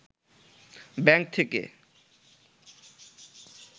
bank থেকে